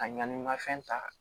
A ɲani mafɛn ta